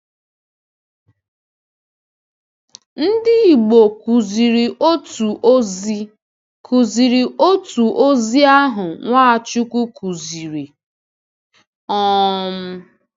Ndị Igbo kụziiri otu ozi kụziiri otu ozi ahụ Nwachukwu kụziri. um